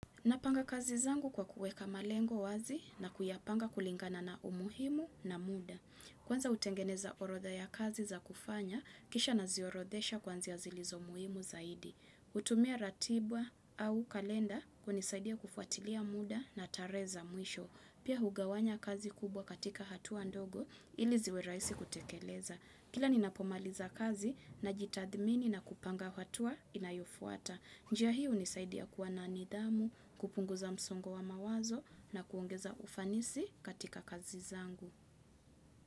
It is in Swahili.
Napanga kazi zangu kwa kuweka malengo wazi na kuyapanga kulingana na umuhimu na muda. Kwanza utengeneza orodha ya kazi za kufanya, kisha naziorodesha kwanzia zilizo muhimu zaidi. hutumia ratiba au kalenda kunisaidia kufuatilia muda na tarehe za mwisho. Pia hugawanya kazi kubwa katika hatua ndogo ili ziwe rahisi kutekeleza. Kila ninapomaliza kazi najitadhmini na kupanga hatua inayofuata. Njia hi unisaidia kuwa na nidhamu, kupunguza msongo wa mawazo na kuongeza ufanisi katika kazi zangu.